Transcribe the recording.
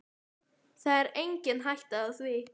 Það er engin hætta á því.